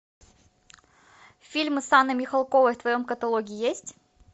фильмы с анной михалковой в твоем каталоге есть